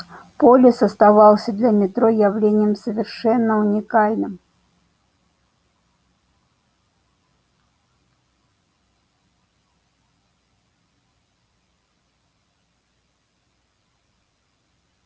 полис оставался для метро явлением совершенно уникальным